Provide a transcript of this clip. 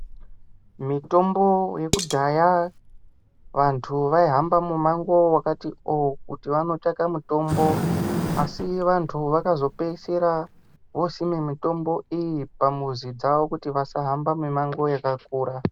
Mutombo yekudhaya vantu vaihamba mimango yakatiwo kuti vandotsvaka mutombo asi vantu vakapedzisira vosime mitombo iyi pamuzi dzavo kuti vasahamba mimango yakakura.